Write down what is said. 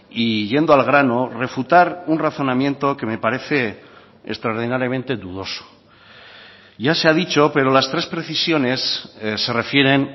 y yendo al grano refutar un razonamiento que me parece extraordinariamente dudoso ya se ha dicho pero las tres precisiones se refieren